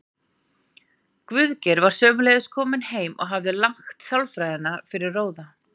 Guðgeir var sömuleiðis kominn heim og hafði lagt sálarfræðina fyrir róða.